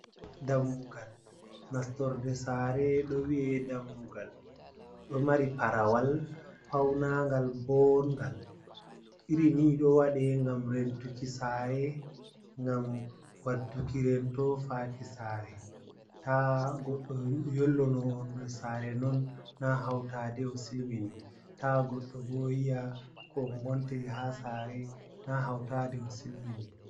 Dammugal nastorde sare do wi’e dammugal, ɗo mari parawal paunagal boongal, iri ni ɗo waɗe gam rentuki sare, gam wadduki rento faki sare, ta goɗɗo yollo noon der sare, non na hautade o silmini, ta goɗɗo bo yiya ko on ngontiri ha sare na hautade o silmini.